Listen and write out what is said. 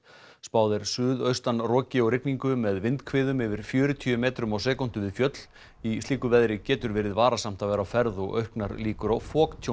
spáð er suðaustanroki og rigningu með vindhviðum yfir fjörutíu metrum á sekúndu við fjöll í slíku veðri getur verið varasamt að vera á ferð og auknar líkur á